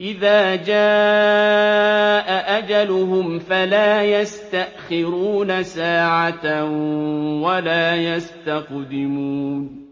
إِذَا جَاءَ أَجَلُهُمْ فَلَا يَسْتَأْخِرُونَ سَاعَةً ۖ وَلَا يَسْتَقْدِمُونَ